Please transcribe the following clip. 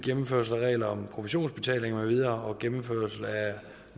gennemførelse af regler om provisionsbetaling med videre og gennemførelse af